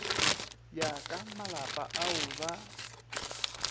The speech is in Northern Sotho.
ya ka malapa ao ba